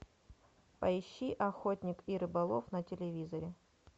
поищи охотник и рыболов на телевизоре